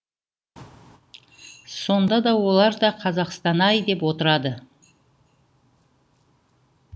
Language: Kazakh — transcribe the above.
сонда да олар да қазақстан ай деп отырады